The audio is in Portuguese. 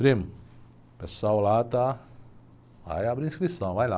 Primo, o pessoal lá está, vai abrir a inscrição, vai lá.